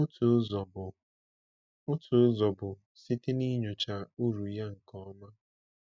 Otu ụzọ bụ Otu ụzọ bụ site n’inyocha uru ya nke ọma.